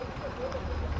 Nə vaxtdır.